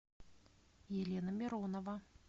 елена миронова